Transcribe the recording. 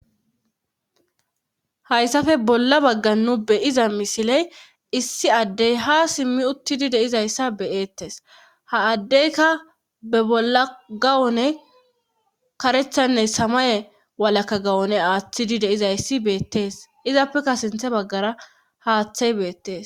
hayssafe bolla baggan nu be7iza misiley issi addey ha simmi uttidi de7izayssa be7eettes ha addeyka be bolla gawune karethanne samaye walakka gawune aaththidi de7izayssi beettees izappeka sinthe baggara haaththey beettees.